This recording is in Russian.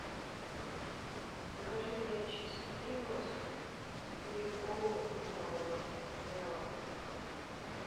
закажи мне чипсы принглс и колу литровую зеро